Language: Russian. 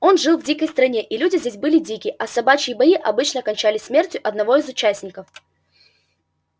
он жил в дикой стране и люди здесь были дикие а собачьи бои обычно кончались смертью одного из участников